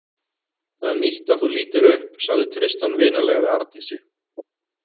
Það er nýtt að þú lítir upp, sagði Tristan vinalega við Arndísi.